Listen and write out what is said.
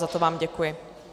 Za to vám děkuji.